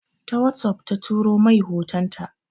Ta wossof ta tura mai hotonta.